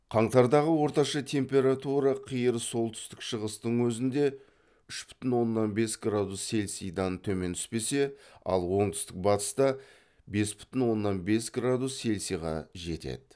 қаңтардағы орташа температура қиыр солтүстік шығыстың өзінде үш бүтін оннан бес градус селсидан төмен түспесе ал оңтүстік батыста бес бүтін оннан бес градус селсиға жетеді